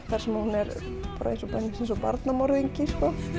þar sem hún er beinlínis eins og barnamorðingi